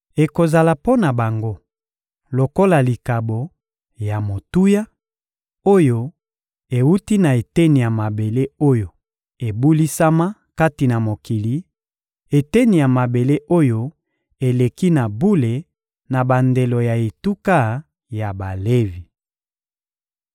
Ekozala mpo na bango lokola likabo ya motuya oyo ewuti na eteni ya mabele oyo ebulisama kati na mokili, eteni ya mabele oyo eleki na bule na bandelo ya etuka ya Balevi.